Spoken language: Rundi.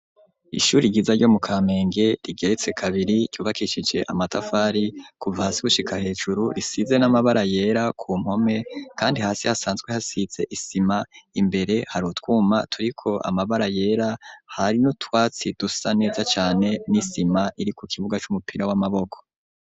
Ishure ryiza ryo mu kampenge rigeretse kabiri ryubakishije amatafari kuva hasi gushika hejuru risize n'amabara yera ku mpome kandi hasi hasanzwe hasitse isima imbere harutwuma turiko amabara yera hari n'utwatsi dusa neza cane n'isima iri ku kibuga c'umupira w'amaboko.